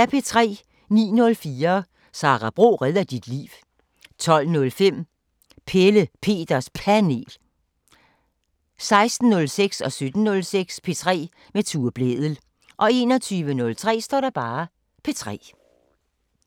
09:04: Sara Bro redder dit liv 12:05: Pelle Peters Panel 16:06: P3 med Tue Blædel 17:06: P3 med Tue Blædel 21:03: P3